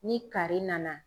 Ni kari nana